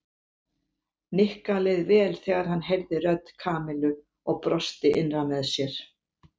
Nikka leið vel þegar hann heyrði rödd Kamillu og brosti innra með sér.